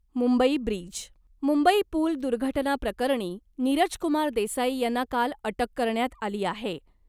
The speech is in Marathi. मुंबई ब्रिज, मुंबई पूल दुर्घटना प्रकरणी , नीरजकुमार देसाई यांना काल अटक करण्यात आली आहे .